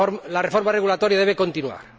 La reforma regulatoria debe continuar.